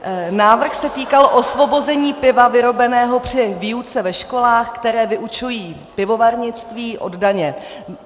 Návrh se týkal osvobození piva vyrobeného při výuce ve školách, které vyučují pivovarnictví, od daně.